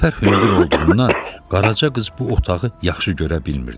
Çəpər hündür olduğundan Qaraca qız bu otağı yaxşı görə bilmirdi.